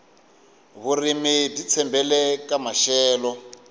vurimi byi tshembele ka maxelo